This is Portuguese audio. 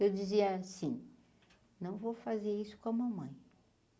Eu dizia assim, não vou fazer isso com a mamãe.